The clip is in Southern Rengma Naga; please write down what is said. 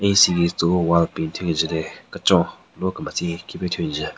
Tsü siki tsü-o wall paint thyu kenjün ne kechon lo kemetsen khipe thyu njen.